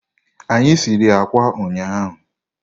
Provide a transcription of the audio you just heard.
Anyị sịrị ákwà ụnyaahụ.